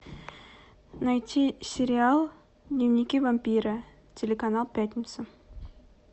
найти сериал дневники вампира телеканал пятница